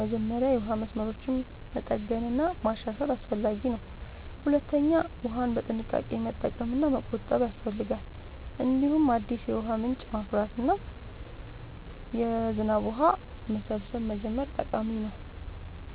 መጀመሪያ የውሃ መስመሮችን መጠገን እና ማሻሻል አስፈላጊ ነው። ሁለተኛ ውሃን በጥንቃቄ መጠቀም እና መቆጠብ ያስፈልጋል። እንዲሁም አዲስ የውሃ ምንጮችን ማፍራት እና የዝናብ ውሃ መሰብሰብ መጀመር ጠቃሚ ነው።